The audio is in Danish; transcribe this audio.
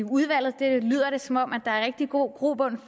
udvalget det lyder som om der er rigtig god grobund